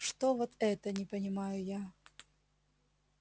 что вот это не понимаю я